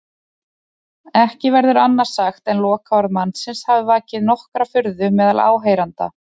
Ekki verður annað sagt en lokaorð mannsins hafi vakið nokkra furðu meðal áheyrenda.